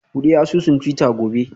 Bude asusun twitter gobe